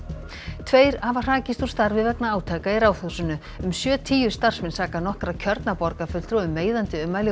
tveir hafa hrakist úr starfi vegna átaka í Ráðhúsinu um sjötíu starfsmenn saka nokkra kjörna borgarfulltrúa um meiðandi ummæli og